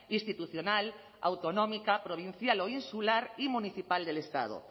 institucional autonómica provincial o insular y municipal del estado